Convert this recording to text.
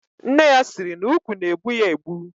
Nne ya siri na ukwu na egbu ya egbu.